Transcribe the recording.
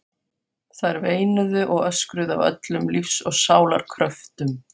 Þær veinuðu og öskruðu af öllum lífs og sálar kröftum.